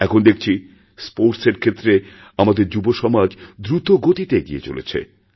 এখন দেখছি স্পোর্টস এর ক্ষেত্রেওআমাদের যুবসমাজ দ্রুতগতিতে এগিয়ে চলেছে